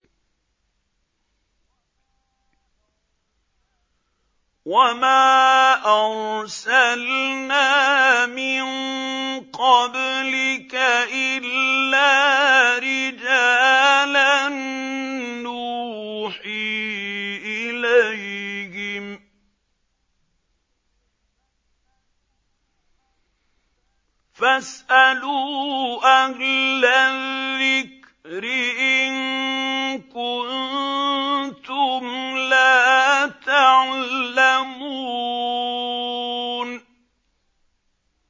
وَمَا أَرْسَلْنَا مِن قَبْلِكَ إِلَّا رِجَالًا نُّوحِي إِلَيْهِمْ ۚ فَاسْأَلُوا أَهْلَ الذِّكْرِ إِن كُنتُمْ لَا تَعْلَمُونَ